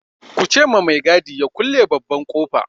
Ku ce ma mai gadi ya kulle babban ƙofa!